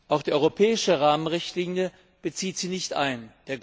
Auch die europäische Rahmenrichtlinie bezieht sie nicht ein.